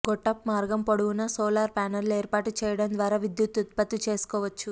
గొట్టపు మార్గం పొడవునా సోలార్ ప్యానెళ్లు ఏర్పాటు చేయడం ద్వారా విద్యుత్తు ఉత్పత్తు చేసుకోవచ్చు